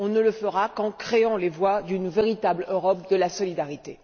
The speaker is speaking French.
On ne le fera qu'en ouvrant la voie à une véritable Europe de la solidarité.